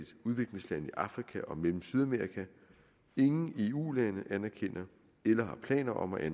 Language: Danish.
afrika og mellem og sydamerika ingen eu lande anerkender eller har planer om at